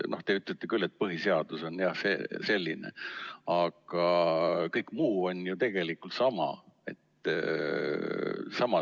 Te ütlete küll, et põhiseadus on selline, aga kõik muu on ju tegelikult sama.